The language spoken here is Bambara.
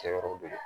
Kɛyɔrɔ de don